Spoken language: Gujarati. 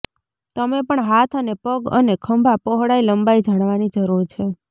તમે પણ હાથ અને પગ અને ખભા પહોળાઈ લંબાઈ જાણવાની જરૂર છે